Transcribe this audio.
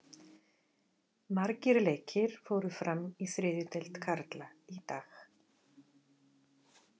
Margir leikir fóru fram í þriðju deild karla í dag.